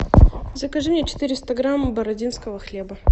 закажи мне четыреста грамм бородинского хлеба